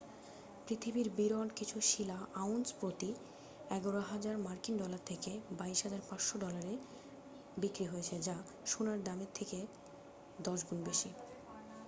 পৃথিবীর বিরল কিছু শিলা আউন্স প্রতি 11,000 মার্কিন ডলার থেকে 22,500 ডলারে বিক্রি হয়েছে যা সোনার দামের চেয়ে 10 গুণ বেশি।